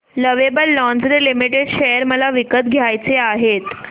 lovable lingerie limited share मला विकत घ्यायचे आहेत